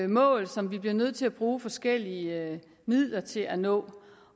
mål som vi bliver nødt til at bruge forskellige midler til at nå